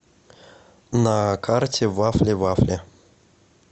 на карте вафливафли